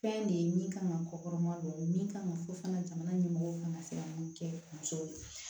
Fɛn de ye min kan ka kɔkɔma don min kan ka fɔ fana jamana ɲɛmɔgɔw kan ka se ka mun kɛ musow ye